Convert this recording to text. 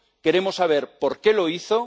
Queremos saber por qué lo hizo.